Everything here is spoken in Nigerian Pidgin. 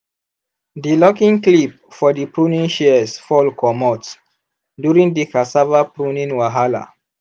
di locking clip for the pruning shears fall comot during the cassava pruning wahala.